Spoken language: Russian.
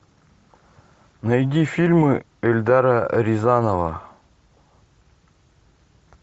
найди фильмы эльдара рязанова